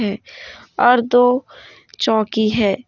और दो चौकी है।